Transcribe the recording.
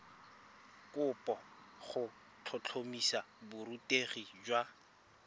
kopo go tlhotlhomisa borutegi jwa